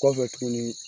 Kɔfɛ tuguni